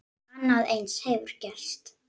Annað eins hefur gerst.